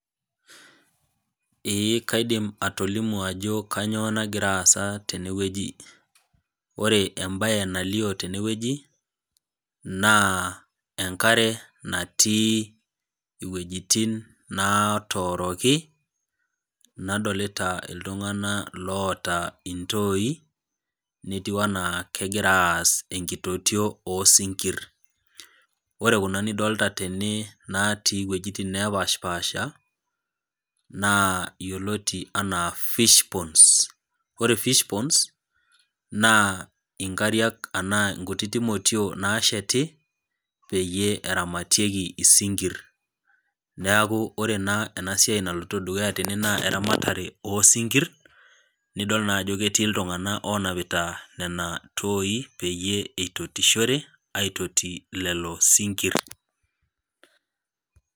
Ee kaidim atolimu ajo kanyio nagira aasa tenewueji ore embae nalio tenewueji na enkare natii wuejitin natooroki nadolita ltunganak oota iltoi netiu ana kegira aass enkitotio osinkir ore kuja nidolita tene natii wuejitin napashipasha na yioloti ana fish ponds yiolo fish ponds na inkariak anaa nkititik motiok nasheti peyie eramatieki isingir neaku ore enasiai naloito dukuya tene na eramatare osinkiri nidol na ajo keti ltunganak onapita nona toi peyie itotishore aitoti lolo sinkir.